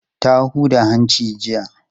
Ta huda hanci jiya.